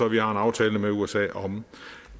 vi har en aftale med usa om